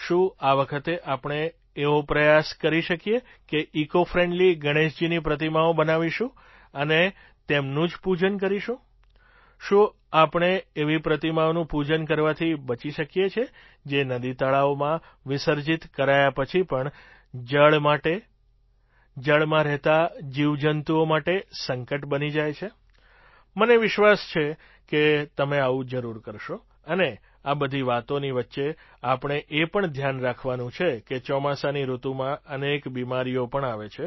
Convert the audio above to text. શું આ વખતે આપણે એવો પ્રયાસ કરી શકીએ કે ઇકૉ ફ્રેન્ડલી ગણેશજીની પ્રતિમાઓ બનાવીશું અને તેમનું જ પૂજન કરીશું શું આપણે એવી પ્રતિમાઓનું પૂજન કરવાથી બચી શકીએ જે નદીતળાવોમાં વિસર્જિત કરાયા પછી પણ જળ માટે જળમાં રહેતા જીવજંતુઓ માટે સંકટ બની જાય છે મને વિશ્વાસ છે કે તમે આવું જરૂર કરશો અને આ બધી વાતોની વચ્ચે આપણે એ પણ ધ્યાન રાખવાનું છે કે ચોમાસાની ઋતુમાં અનેક બીમારીઓ પણ આવે છે